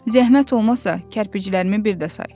Zəhmət olmasa, kərpiclərimi bir də say.